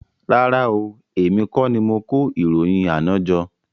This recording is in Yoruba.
Rárá oo, èmi kọ́ ni mo kó ìròyìn àná jọ